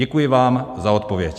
Děkuji vám za odpověď.